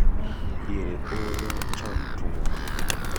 Diere oro cham tuo.